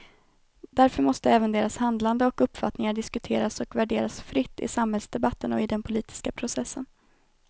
Därför måste även deras handlande och uppfattningar diskuteras och värderas fritt i samhällsdebatten och i den politiska processen.